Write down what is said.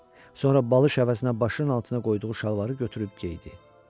Sonra balış həvəsinə başının altına qoyduğu şalvarı götürüb geydi.